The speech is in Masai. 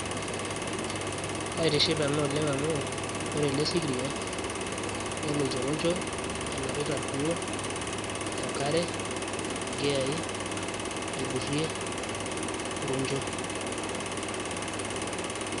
kaitiship ena oleng amu ore ele sikiria neloito roncho enapita irkuo enkare inkiyai aidurrie roncho.